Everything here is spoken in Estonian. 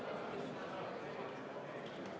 Hääletamissedel täidetakse hääletamiskabiinis.